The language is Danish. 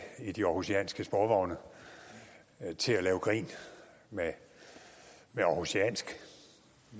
i de århusianske sporvogne til at lave grin med århusiansk